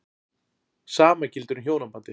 Sama gildir um hjónabandið.